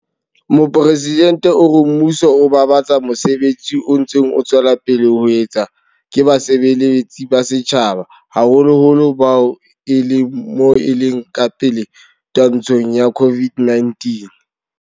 Mopresidente o re mmuso o babatsa mosebetsi o ntseng o tswela pele ho etswa ke basebeletsi ba setjhaba, haholoholo bao ba leng moleng o ka pele twantshong ya COVID-19.